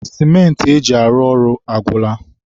sịmentị e ji arụ ọrụ agwụla.